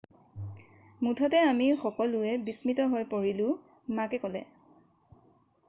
মুঠতে আমি সকলোৱে বিস্মিত হৈ পৰিলোঁ মাকে ক'লে